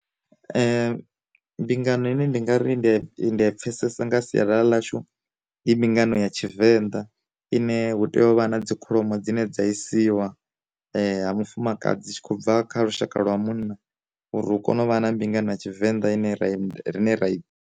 Mbingano ine ndi nga ri ndi ya i pfesesa nga sialala ḽashu i mbingano ya tshivenḓa ine hu tea u vha na dzi kholomo dzine dza isiwa ha mufumakadzi tshi khou bva kha lushaka lwa munna, uri hu kone uvha na mbingano ya tshivenḓa ine ra rine ri.